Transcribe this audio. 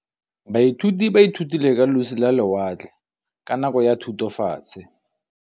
Baithuti ba ithutile ka losi lwa lewatle ka nako ya Thutafatshe.